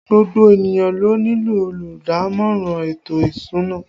Gbogbo ènìyàn ló nílò olùdámọ̀ràn ètò ìsúná